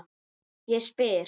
Ég spyr?